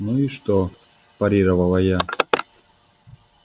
ну и что парировала я